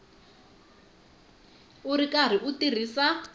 u ri karhi u tirhisa